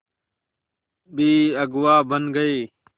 भी अगुवा बन गए